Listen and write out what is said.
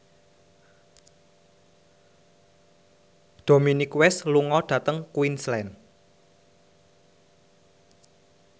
Dominic West lunga dhateng Queensland